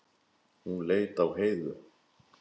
Hún leit á Heiðu.